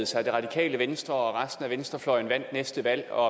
sig at det radikale venstre og resten af venstrefløjen vandt næste valg og